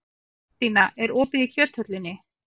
Þórstína, er opið í Kjöthöllinni?